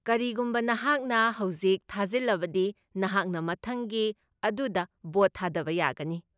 ꯀꯔꯤꯒꯨꯝꯕ ꯅꯍꯥꯛꯅ ꯍꯧꯖꯤꯛ ꯊꯥꯖꯤꯜꯂꯕꯗꯤ ꯅꯍꯥꯛꯅ ꯃꯊꯪꯒꯤ ꯑꯗꯨꯗ ꯚꯣꯠ ꯊꯥꯗꯕ ꯌꯥꯒꯅꯤ ꯫